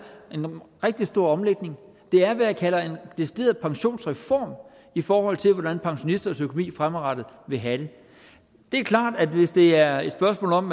en rigtig stor omlægning det er hvad jeg kalder en decideret pensionsreform i forhold til hvordan pensionisters økonomi fremadrettet vil have det det er klart at hvis det er et spørgsmål om